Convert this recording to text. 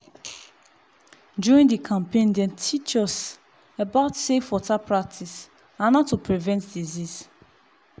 during the campaign dem teach us about safe water practice and how to prevent disease.